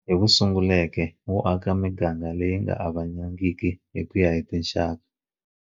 Hi wu sunguleke wo aka miganga leyi nga avanangiki ku ya hi tinxaka.